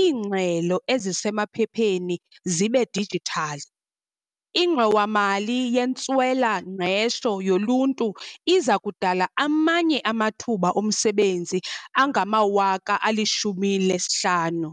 iingxelo esisemaphepheni zibe dijithali, iNgxowa-mali yeNtswela-ngqesho yoLuntu iza kudala amanye amathuba omsebenzi angama-50 000.